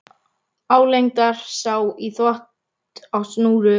Álengdar sá í þvott á snúru og kamar.